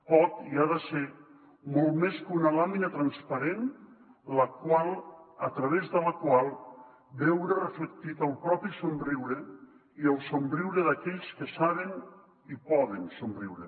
pot i ha de ser molt més que una làmina transparent a través de la qual veure reflectit el propi somriure i el somriure d’aquells que saben i poden somriure